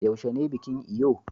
yaushe ne bikin Eyo